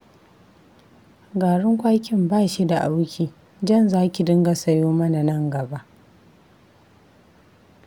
Garin kwakin ba shi da auki, jan za ki dinga sayo mana nan gaba